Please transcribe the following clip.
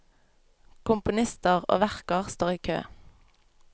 Komponister og verker står i kø.